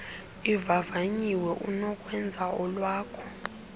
ivavanyiwe unokwenza olwakho